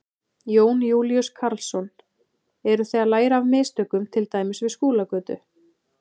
Jón Júlíus Karlsson: Eru þið að læra af mistökum til dæmis við Skúlagötu?